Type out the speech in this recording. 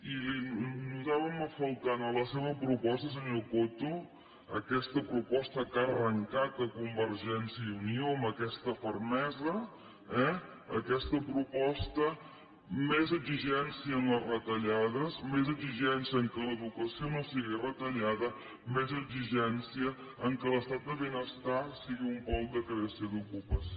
i li notàvem a faltar en la seva proposta senyor coto aquesta proposta que ha arrencatunió amb aquesta fermesaexigència en les retallades més exigència que l’educació no sigui retallada més exigència que l’estat de benestar sigui un pol de creació d’ocupació